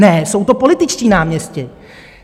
Ne, jsou to političtí náměstci.